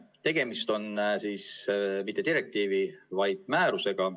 Tegemist on mitte direktiivi, vaid määrusega.